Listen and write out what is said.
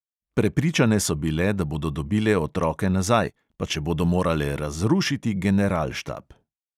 Prepričane so bile, da bodo dobile otroke nazaj, pa če bodo morale razrušiti generalštab.